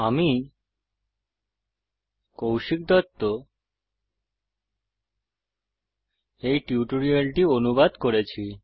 আমি কৌশিক দত্ত এই টিউটোরিয়ালটি অনুবাদ করেছি